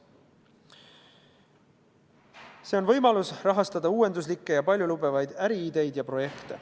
See on võimalus rahastada uuenduslikke ja paljulubavaid äriideid ja projekte.